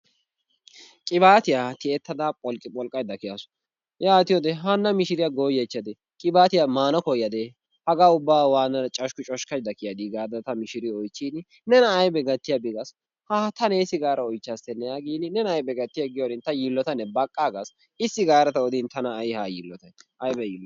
Qibatiyaa tiyyetada pholqqipholqqaydda kiyawus. Yaatiyoode hana mishiriyaa goyyaychchade qibaatiyaa maana koyyad? Haga ubba waattada coshkki coshkkaydda kiyyaadi gaada ta mishiriyo oychchin nena aybbe gattiyaaba gaasu, haha ta neessi gaada oychchastenne gin nena aybbe gattiyay giyoorin ta yiillotane baqqaagas, issi gaada odin tana ay ha yiilotay, aybba yiiloy.